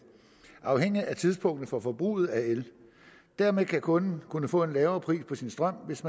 afhængigt af tidspunktet for forbruget af el dermed vil kunden kunne få en lavere pris på sin strøm hvis